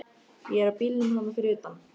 Ég er á bílnum þarna fyrir utan.